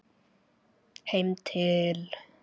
Heim til